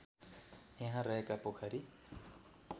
यहाँ रहेका पोखरी